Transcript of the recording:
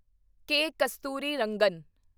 ਕੇ. Kasturirangan